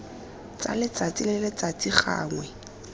tsa letsatsi le letsatsi gangwe